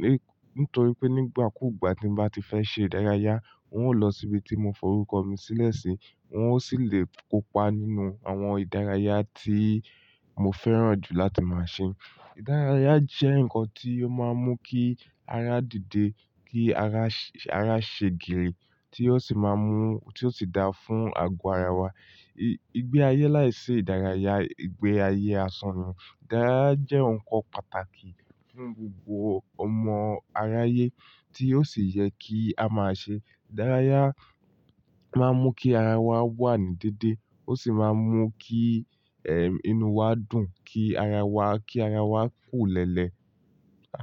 ní-- nítorí pé nígbà kú ìgbà tí mo bá ti fẹ́ ṣe ìdárayá, ń o lọ síbi tí mo fọrúkọ mi sílẹ̀ sí, wọn ó sì le kópa nínú àwọn ìdárayá tí mo fẹ́ràn jù láti máa ṣe. Ìdárayá jẹ́ nǹkan tí ó máa ń mú kí ara dìde, kí ara, ara ṣe gírì tí ó sì máa mú, tí ó sì da fún àgọ́ ara wa. I-igbe ayé láìsí ìdárayá igbe ayé asan ni. Ìdárayá jẹ́ nǹkan pàtàkì fún gbogbo ọmọ aráyé tí ó sì yẹ kí a máa ṣe. Ìdárayá máa ń mú kí ara wa wà ní dédé, ó sì máa ń mú kí, ehn, inú wa dùn, kí ara wa, kí ara wa kùlẹ́lẹ́.